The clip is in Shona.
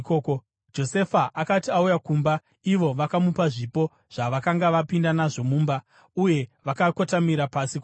Josefa akati auya kumba, ivo vakamupa zvipo zvavakanga vapinda nazvo mumba, uye vakakotamira pasi kwaari.